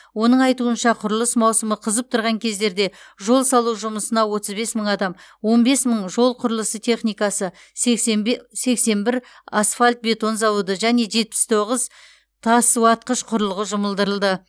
оның айтуынша құрылыс маусымы қызып тұрған кездерде жол салу жұмысына отыз бес мың адам он бес мың жол құрылысы техникасы сексен бір асфальт бетон зауыты және жетпіс тоғыз тас уатқыш құрылғы жұмылдырылды